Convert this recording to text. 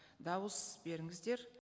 дауыс беріңіздер